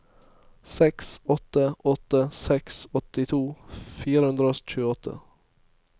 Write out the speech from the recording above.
seks åtte åtte seks åttito fire hundre og tjueåtte